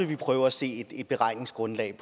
vil prøve at se et beregningsgrundlag